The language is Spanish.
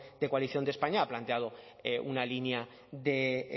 de coalición de españa ha planteado una línea de